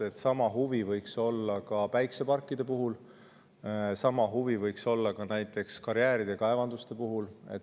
Sama võiks olla ka päikseparkide puhul, sama võiks olla ka näiteks karjääride ja kaevanduste puhul.